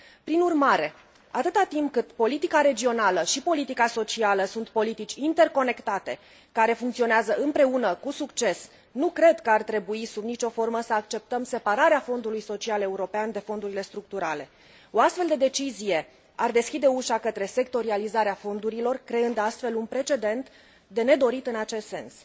Prin urmare, atâta timp cât politica regională și politica socială sunt politici interconectate, care funcționează împreună cu succes, nu cred că ar trebui sub nicio formă să acceptăm separarea Fondului Social European de fondurile structurale O astfel de decizie ar deschide ușa către sectorializarea fondurilor, creând astfel un precedent de nedorit în acest sens.